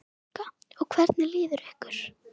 Helga: Og hvernig líður ykkur?